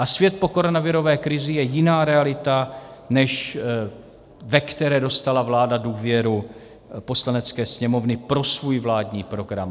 A svět po koronavirové krizi je jiná realita, než ve které dostala vláda důvěru Poslanecké sněmovny pro svůj vládní program.